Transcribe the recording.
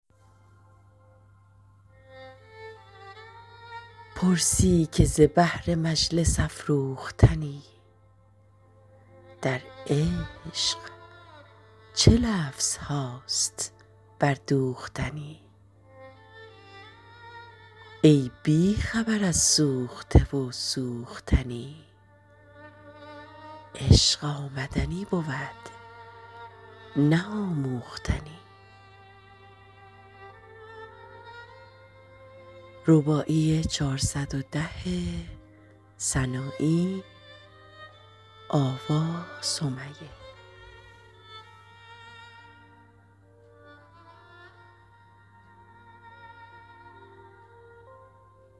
پرسی که ز بهر مجلس افروختنی در عشق چه لفظهاست بردوختنی ای بی خبر از سوخته و سوختنی عشق آمدنی بود نه آموختنی